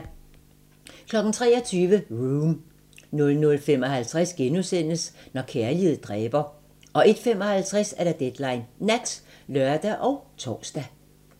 23:00: Room 00:55: Når kærlighed dræber * 01:55: Deadline Nat (lør og tor)